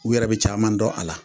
U yɛrɛ bɛ caman dɔn a la.